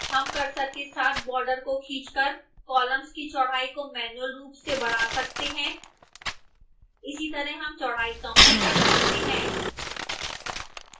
हम cursor के साथ border को खींचकर column की चौड़ाई को मैन्युअल रूप से बढ़ा सकते हैं इसी तरह हम चौड़ाई कम भी कर सकते हैं